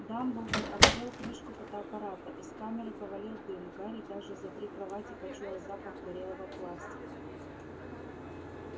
дамблдор открыл крышку фотоаппарата из камеры повалил дым гарри даже за три кровати почуял запах горелого пластика